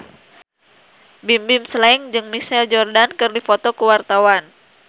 Bimbim Slank jeung Michael Jordan keur dipoto ku wartawan